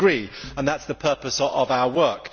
I agree, and that is the purpose of our work.